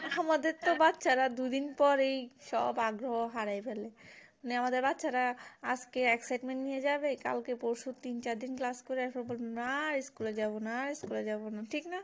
আমাদের তো বাচ্চারা তো দুদিন পরেই সব আগ্রহ হারিয়ে ফেলে নিয়ে এমামদের বাচ্চারা আজকে excitement নিয়ে যাবে কালকে পরশু তিন চার দিন class করেই না school এ যাবনা না school এ যাবোনা ঠিক না